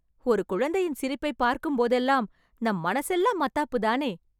ஒரு குழந்தையின் சிரிப்பைப் பார்க்கும்போதெல்லாம், நம் மனசெல்லாம் மத்தாப்புதானே...